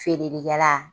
Feerelikɛla